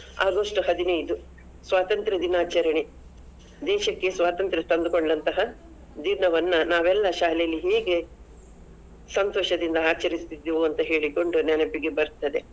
August ಹದಿನೈದು, ಸ್ವಾತಂತ್ರ್ಯ ದಿನಾಚರಣೆ. ದೇಶಕ್ಕೆ ಸ್ವಾತಂತ್ರ್ಯ ತಂದು ಕೊಂಡಂತಹ ದಿನವನ್ನ ನಾವೆಲ್ಲಾ ಶಾಲೆಯಲ್ಲಿ ಹೇಗೆ ಸಂತೋಷದಿಂದ ಆಚರಿಸುತಿದ್ದೆವೋ ಅಂತ ಹೇಳಿಕೊಂಡು ನೆನಪಿಗೆ ಬರ್ತದೆ.